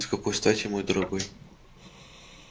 с какой стати мой дорогой